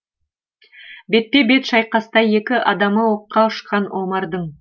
бетпе бет шайқаста екі адамы оққа ұшқан омардың